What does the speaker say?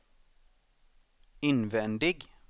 invändig